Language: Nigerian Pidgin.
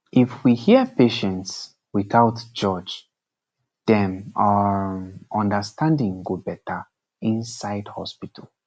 if we hear patients without judge dem um understanding go better inside hospital